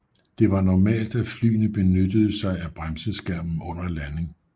Det var normalt at flyene benyttede sig af bremseskærmen under landing